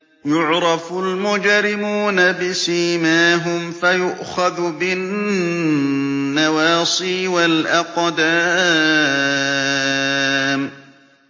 يُعْرَفُ الْمُجْرِمُونَ بِسِيمَاهُمْ فَيُؤْخَذُ بِالنَّوَاصِي وَالْأَقْدَامِ